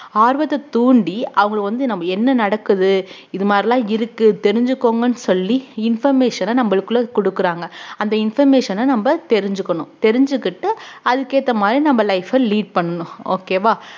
ஆர்வத்தை தூண்டி அவங்கள வந்து நம்ம என்ன நடக்குது இது மாதிரி எல்லாம் இருக்கு தெரிஞ்சுக்கோங்கன்னு சொல்லி information அ நம்மளுக்குள்ள கொடுக்குறாங்க அந்த information அ நம்ம தெரிஞ்சுக்கணும் தெரிஞ்சுக்கிட்டு அதுக்கேத்த மாதிரி நம்ம life அ lead பண்ணணும் okay வா